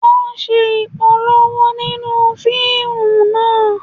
Wọ́n ń ṣe Ìpolówó nínú fíìmù náà